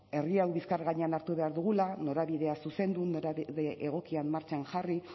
herri hau bizkar gainean hartu behar dugula norabidea zuzendu norabide egokian martxan jarri